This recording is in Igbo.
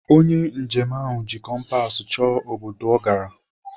Onye njem ahụ ji kompas chọọ obodo ọ gara.